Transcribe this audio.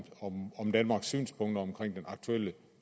danmarks synspunkter om den aktuelle